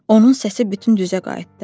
Onun səsi bütün düzə qayıtdı.